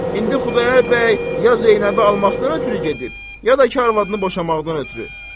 İndi Xudayar bəy ya Zeynəbi almaqdan ötrü gedib, ya da ki arvadını boşamaqdan ötrü.